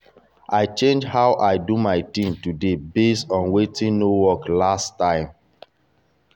i change how i do my thing today based on wetin no work last time.